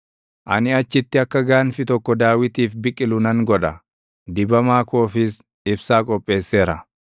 “Ani achitti akka gaanfi tokko Daawitiif biqilu nan godha; dibamaa koofis ibsaa qopheesseera.